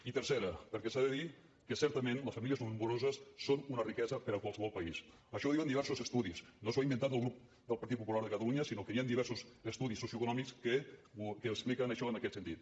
i tercera perquè s’ha de dir que certament les famílies nombroses són una riquesa per a qualsevol país això ho diuen diversos estudis no s’ho ha inventat el grup del partit popular de catalunya sinó que hi han diversos estudis socioeconòmics que expliquen això en aquest sentit